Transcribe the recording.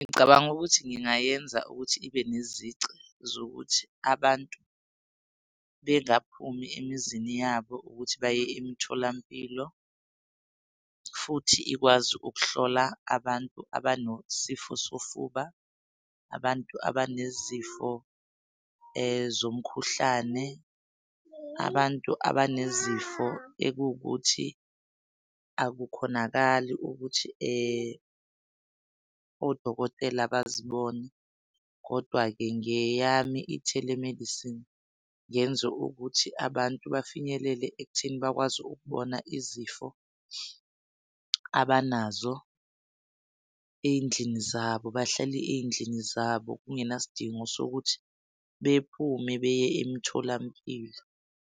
Ngicabanga ukuthi ngingayenza ukuthi ibe nezici zokuthi abantu bengaphumi emizini yabo ukuthi baye emitholampilo. Futhi ikwazi ukuhlola abantu abanosifo sofuba, abantu abanezifo zomkhuhlane, abantu abanezifo ekuwukuthi akukhonakali ukuthi odokotela bazibone. Kodwa-ke ngeyami i-telemedicine ngenze ukuthi abantu bafinyelele ekutheni bakwazi ukubona izifo abanazo ey'ndlini zabo, bahlale ey'ndlini zabo kungenasidingo sokuthi bephume beye emitholampilo.